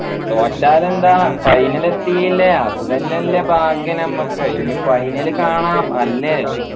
തോറ്റാൽ എന്താ final എത്തിയില്ലേ അത് തന്നെയല്ലേ ഭാഗ്യം നമ്മക്ക് ഇനി final കാണാം അല്ലേ